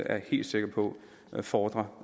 jeg helt sikker på befordrer